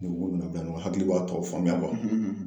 Ni n k'o nana bila ɲɔgɔnna hakili b'a tɔw faamuya